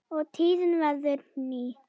og tíðin verður ný